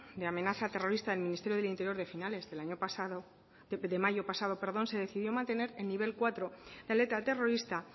de amenaza terrorista del ministerio del interior de finales de mayo pasado se decidió mantener el nivel cuatro de alerta terrorista